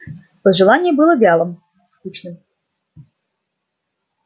пожелание было вялым скучным